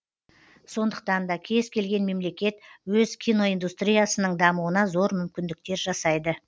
сондықтан да кез келген мемлекет өз киноиндустриясының дамуына зор мүмкіндіктер жасайды